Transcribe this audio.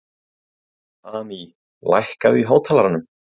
Amý, lækkaðu í hátalaranum.